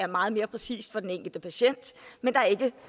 meget mere præcist for den enkelte patient men der er ikke